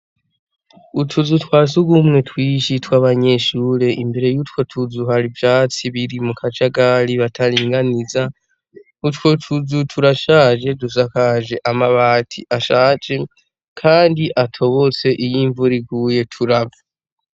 Utuzu twa surwumwe twinshi tw'abanyeshure; imbere y'utwo tuzu hari ivyatsi biri mu kajagari, bataringaniza. Utwo tuzu turashaje dusakaje amabati ashaje kandi atobotse; Iyo imvura iguye turava.